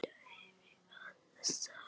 Þetta hef ég alltaf sagt!